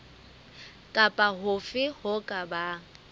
kapa hofe ho ka bang